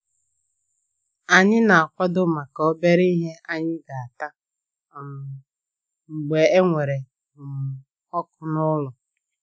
Ànyị na akwado maka obere ìhè anyị ga ata um mgbe ewere um ọkụ n'ụlọ